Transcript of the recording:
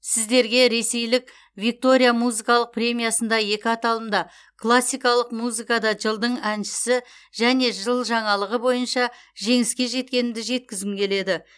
сіздерге ресейлік виктория музыкалық премиясында екі аталымда классикалық музыкада жылдың әншісі және жыл жаңалығы бойынша жеңіске жеткенімді жеткізгім келеді